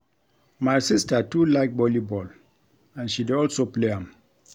My sister too like volleyball and she dey also play am